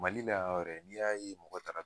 Mali la ɔ yɛrɛ n'i y'a ye mɔgɔ taara